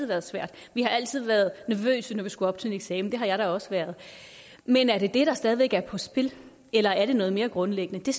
været svært vi har altid været nervøse når vi skulle op til en eksamen det har jeg da også været men er det det der stadig væk er på spil eller er det noget mere grundlæggende det